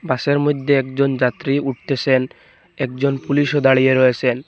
বাসের মধ্যে একজন যাত্রী উঠতেসেন একজন পুলিশও দাঁড়িয়ে রয়েসেন।